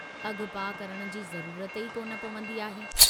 अघ पाह करण जी ज़रूरत ई कोन पवंदी आहे।